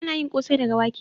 Ana yin kosai daga wake